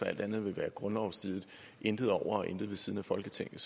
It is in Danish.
at alt andet vil være grundlovsstridigt intet over og intet ved siden af folketinget